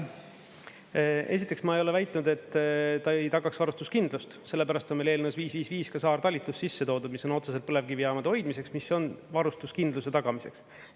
Esiteks ma ei ole väitnud, et ta ei tagaks varustuskindlust, sellepärast on meil eelnõus 555 ka saartalitus sisse toodud, mis on otseselt põlevkivijaamade hoidmiseks, mis on varustuskindluse tagamiseks.